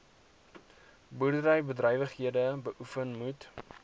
boerderybedrywighede beoefen moet